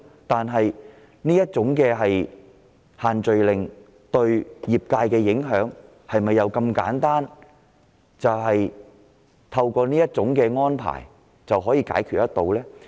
但是，限聚令對業界造成的影響是否如此簡單，透過某些安排便可解決得到？